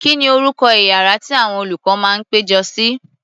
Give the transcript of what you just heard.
Kí ni orúkọ iyàrá tí àwọn olùkọ́ máa ń péjọ sí?